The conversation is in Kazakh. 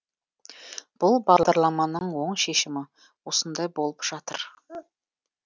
бұл бағдарламаның оң шешімі осындай болып жатыр